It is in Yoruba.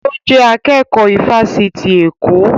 Ó jẹ́ akẹ́kọ̀ọ́ ifásitì Èkó